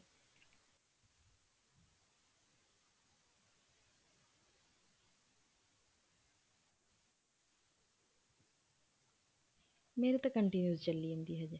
ਮੇਰੀ ਤਾਂ continues ਚੱਲੀ ਜਾਂਦੀ ਹੈ ਹਜੇ